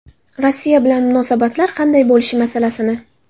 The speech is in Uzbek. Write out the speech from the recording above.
Rossiya bilan munosabatlar qanday bo‘lishi masalasini.